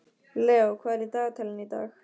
Leó, hvað er í dagatalinu í dag?